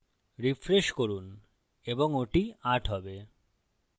refresh করুন এবং ওটি ৮ হবে